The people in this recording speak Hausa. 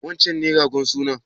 Wancen ne ragon sunan?